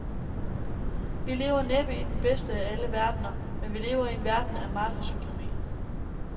Vi lever næppe i den bedste af alle verdener, men vi lever i en verden af markedsøkonomi.